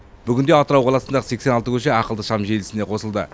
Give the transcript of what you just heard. бүгінде атырау қаласындағы сексен алты көше ақылды шам желісіне қосылды